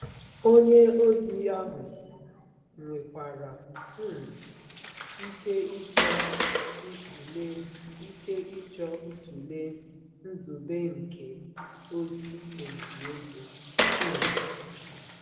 Onye ozi ahụ nwekwara um ike ịchọ ịtụle ike ịchọ ịtụle nzube nke ozi olili ozu. um